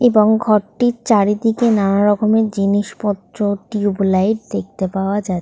এবং ঘরটির চারিদিকে নানারকমের জিনিসপত্র টিউব লাইট দেখতে পাওয়া যা--